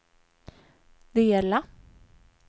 dela